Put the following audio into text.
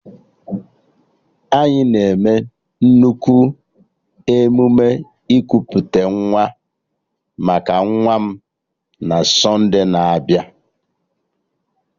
Anyị na-eme nnukwu emume ikuputa nwa maka nwa m na sonde na-abịa